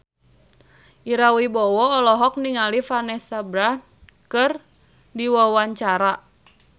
Ira Wibowo olohok ningali Vanessa Branch keur diwawancara